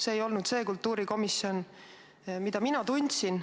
See ei ole see kultuurikomisjon, mida mina tundsin.